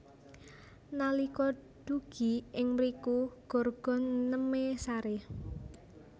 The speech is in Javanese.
Nalika dugi ing mriku Gorgon nemé saré